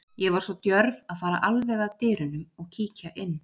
Ég var svo djörf að fara alveg að dyrunum og kíkja inn.